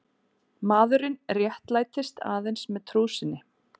Maðurinn réttlætist aðeins með trú sinni.